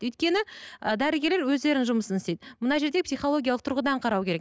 өйткені і дәрігерлер өздерінің жұмысын істейді мына жерде психологиялық тұрғыдан қарау керек